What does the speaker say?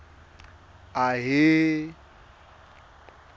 ahee